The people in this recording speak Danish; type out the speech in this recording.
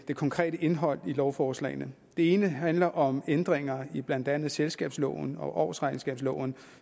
det konkrete indhold i lovforslagene det ene handler om ændringer i blandt andet selskabsloven og årsregnskabsloven